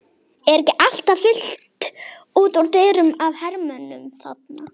Er ekki alltaf fullt út úr dyrum af hermönnum þarna?